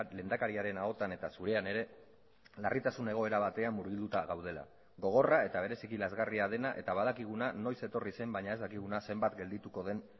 lehendakariaren ahotan eta zurean ere larritasun egoera batean murgilduta gaudela gogorra eta bereziki lazgarria dena eta badakiguna noiz etorri zen baina ez dakiguna zenbat geldituko den